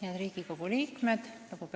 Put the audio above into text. Head Riigikogu liikmed!